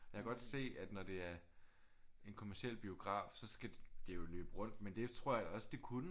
Jeg kan godt se at når det er en kommerciel biograf så skal det jo løbe rundt men det tror jeg også at det kunne